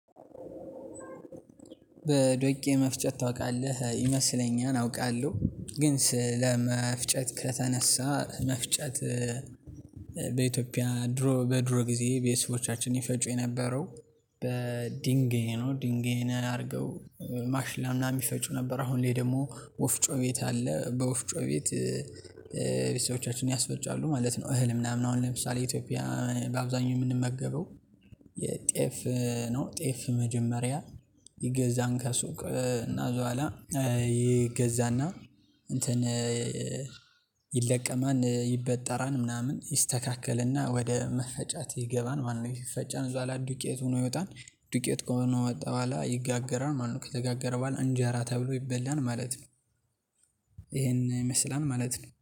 በዶቄ መፍጨት ታውቃለህ ይመስለኛል አውቃለሁ ግን ስለመፍጨት ከተነሳ መፍጨት። በኢትዮጵያ ድሮ በድሮ ጊዜ ቤተሰቦቻችን ይፈጩ የነበረው በድንጌይ ነው ድንጌይን አርገው ማሽላ ምናምን ይፈጩ ነበር። አሁን ላይ ደግሞ ወፍጮ ቤት አለ በወፍጮ ቤት ቤተሰቦቻችን ያስፈጫሉ ማለት ነው። እህል ምናምን አሁን ለምሳሌ ኢትዮጵያ በአብዛኛው የምንመገበው የጤፍ ነው። ጤፍ መጀመሪያ ይገዛን ከሱቅ እና እዛ ኋላ ይገዛና እንትን ይለቀማል ይበጠራል ምናምን ይስተካከለና ወደ መፈጫት ይገባል። ማለት ይፈጫል እዛ ላይ ዱቄት ሆኖ ይወጣል። ዱቄት ከሆነ ወጣ በኋላ ይጋገራል ማለት ነው። ከተጋገረ በኋላ እንጀራ ተብሎ ይበላል ማለት ነው። ይሄን ይመስላል ማለት ነው